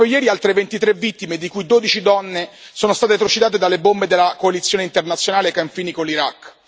Proprio ieri altre 23 vittime, di cui 12 donne, sono state trucidate dalle bombe della coalizione internazionale ai confini con l'Iraq.